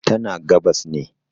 tana gabas ne